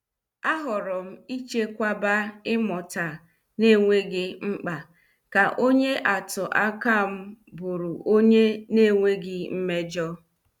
A horom ichekwaba ịmụta na- enweghị mkpa ka onye atụ akam bụrụ onye na- enweghị mmejọ.